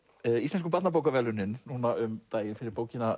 Íslensku barnabókaverðlaunin núna um daginn fyrir bókina